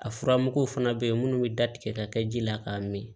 A furamuguw fana bɛ yen minnu bɛ da tigɛ ka kɛ ji la k'a min